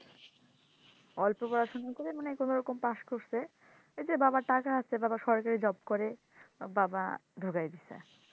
অল্প পড়াশোনা করে কোনো রকম পাস করছে বাবার টাকা আছে বাবা সরকারি জব করে বাবা ডুকায়া দিসে,